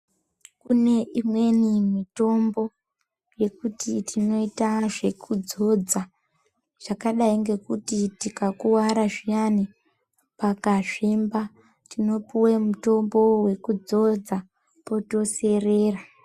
Kune imweni mitombo yekuti tinoita zvekudzodza zvakadai ngekuti tikakuwara zviyani pakazvimba tinopuwe mutombo wekudzodza potoserera.